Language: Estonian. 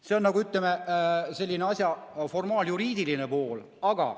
See on asja, ütleme, formaaljuriidiline pool.